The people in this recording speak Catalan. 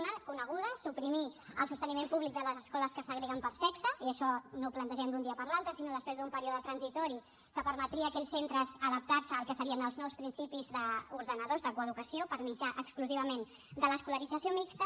una coneguda suprimir el sosteniment públic de les escoles que segreguen per sexe i això no ho plantegem d’un dia per l’altre sinó després d’un període transitori que permetria a aquells centres adaptar se al que serien els nous principis ordenadors de coeducació per mitjà exclusivament de l’escolarització mixta